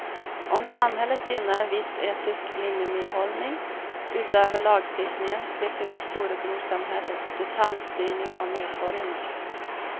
Om samhället gynnar en viss etisk minimihållning utöver lagstiftningen slipper vi storebrorsamhällets detaljstyrning av medborgarna.